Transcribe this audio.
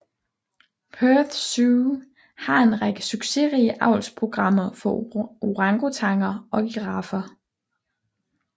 Perth Zoo har en række succesrige avlsprogrammer for orangutanger og giraffer